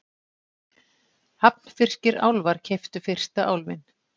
Hafnfirskir álfar keyptu fyrsta Álfinn